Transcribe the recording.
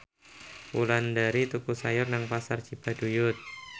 Wulandari tuku sayur nang Pasar Cibaduyut